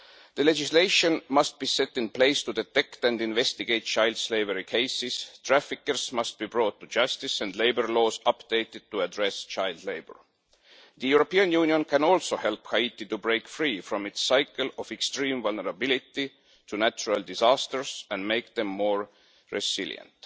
The legislation must be put in place to detect and investigate child slavery cases, traffickers must be brought to justice and labour laws must be updated to address child labour. The European Union can also help Haiti to break free from its cycle of extreme vulnerability to natural disasters and make it more resilient.